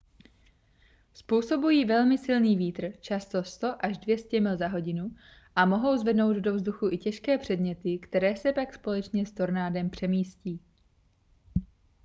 způsobují velmi silný vítr často 100–200 mil za hodinu a mohou zvednout do vzduchu i těžké předměty které se pak společně s tornádem přemístí